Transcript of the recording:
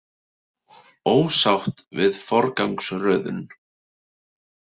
Ósátt við forgangsröðun